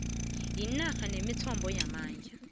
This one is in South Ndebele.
inarha nemithombo yamandla